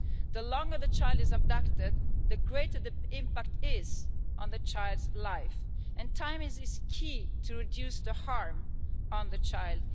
The longer the child is abducted the greater the impact is on the child's life and time is key to reduce the harm on the child.